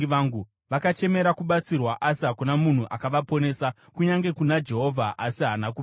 Vakachemera kubatsirwa, asi hakuna munhu akavaponesa, kunyange kuna Jehovha, asi haana kupindura.